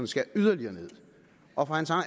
skal yderligere ned og for